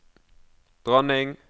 dronning